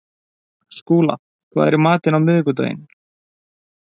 Skúla, hvað er í matinn á miðvikudaginn?